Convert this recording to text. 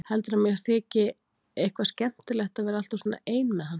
Heldurðu að mér þyki eitthvað skemmtilegt að vera alltaf svona ein með hann?